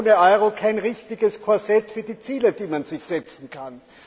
Ohne Euro kein richtiges Korsett für die Ziele, die man sich setzen kann.